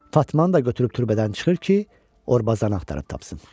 Fatmanı da götürüb türbədən çıxır ki, Orbazanı axtarıb tapsın.